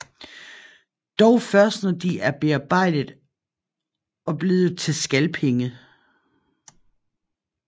Dog først når de er bearbejdet og blevet til skalpenge